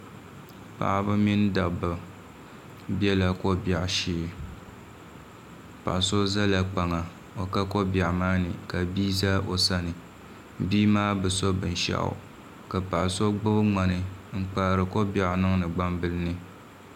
Paɣaba mini dabba biɛla ko biɛɣu shee paɣa so ʒɛla kpaŋa o ka ko biɛɣu maa ni ka bia ʒɛ o sani bia maa bi so binshaɣu ka paɣa so gbubi ŋmani n kpaari ko biɛɣu niŋdi gbambili ni